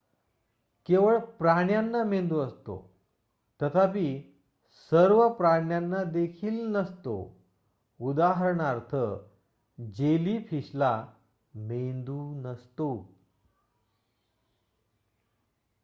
केवळ प्राण्यांना मेंदू असतो तथापि सर्व प्राण्यांना देखील नसतो; उदाहरणार्थ जेलीफिशला मेंदू नसतो